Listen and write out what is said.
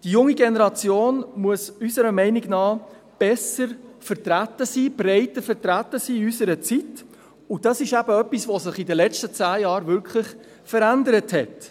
Die junge Generation muss unserer Meinung nach besser, breiter vertreten sein in unserer Zeit, und das ist eben etwas, das sich während den letzten zehn Jahren wirklich verändert hat.